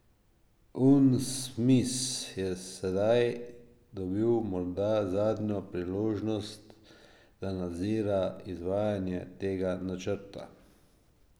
Unsmis je sedaj dobil morda zadnjo priložnost, da nadzira izvajanje tega načrta.